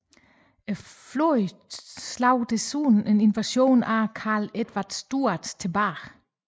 Flåden slog desuden en invasion af Karl Edvard Stuart tilbage